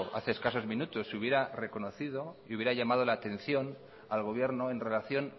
escasos minutos y hubiera reconocido y hubiera llamado la atención al gobierno en relación